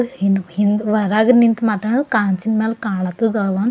ಹಿಂದ್ ಹಿಂದ್ ಹೊರಗ್ ನಿಂತ್ ಮಾತಾಡೋದು ಗಾಜಿನ ಮೇಲೆ ಕಾಣುತ್ತದವ.